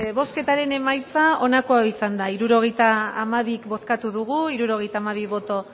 bozketaren emaitza onako izan da hirurogeita hamabi eman dugu bozka hirurogeita hamabi boto